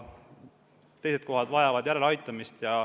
Teised asutused vajavad järeleaitamist.